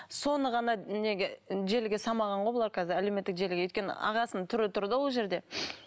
соны ғана неге желіге салмаған ғой бұлар қазір әлеуметтік желіге өйткені ағасының түрі тұр да ол жерде